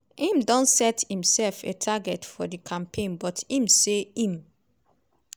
im don set imsef a target for di campaign but im say im